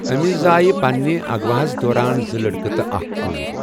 أمِس زایہِ پنِنہِ اغواہَس دوران زٕ لڑکہٕ تہٕ اکھ کوٗر۔